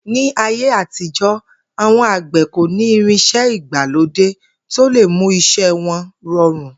Ní ayé àtijó̩, àwo̩n àgbè̩ kò ní irins̩é̩ ìgbàlódé tó lè mú is̩é̩ wo̩n ro̩rùn